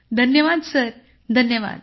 धन्यवाद सर धन्यवाद